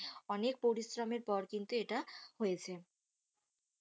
অনেক পরিশ্রম এর পর কিন্তু ইটা হয়েছে